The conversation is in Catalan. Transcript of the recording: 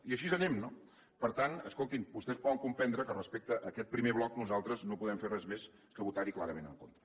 i així anem no per tant escoltin vostès poden comprendre que respecte a aquest primer bloc nosaltres no podem fer res més que votar hi clarament en contra